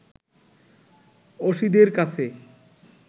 অসিদের কাছে